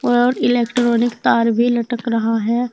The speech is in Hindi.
और इलेक्ट्रॉनिक तार भी लटक रहा है।